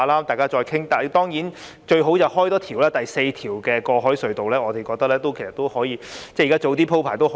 但是，最好當然是多建造一條，即第四條過海隧道，我們認為可以早點鋪排和考慮。